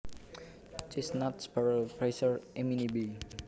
Chestnut Sparrow Passer eminibey